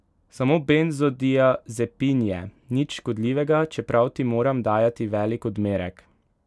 Samo benzodiazepin je, nič škodljivega, čeprav ti moram dajati velik odmerek.